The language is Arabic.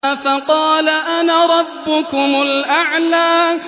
فَقَالَ أَنَا رَبُّكُمُ الْأَعْلَىٰ